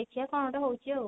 ଦେଖିଆ କଣ ଗୋଟେ ହଉଛି ଆଉ